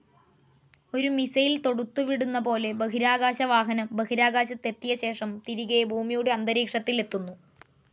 ഒരു മിസൈൽ തോടുത്തുവിടുന്ന പോലെ ബഹിരാകാശവാഹനം ബഹിരാകാശത്തെത്തിയ ശേഷം തിരികെ ഭൂമിയുടെ അന്തരീക്ഷത്തിലെത്തുന്നു.